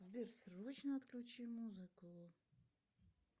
сбер срочно отключи музыку